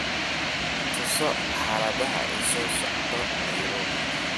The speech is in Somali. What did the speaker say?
tuso xaalada isu socodka nairobi